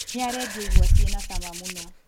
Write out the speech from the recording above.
Nĩarendia igwa ciĩna cama mũno